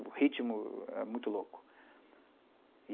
O ritmo é muito louco.